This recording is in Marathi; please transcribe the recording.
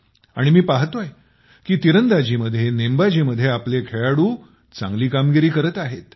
आणि मी पाहतोय की तिरंदाजी मध्ये नेमबाजी मध्ये आपले खेळाडू चांगली कामगिरी करत आहेत